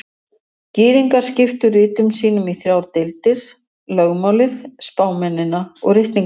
Gyðingar skiptu ritum sínum í þrjár deildir: Lögmálið, spámennina og ritningarnar.